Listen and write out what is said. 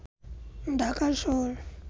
ঢাকা শহর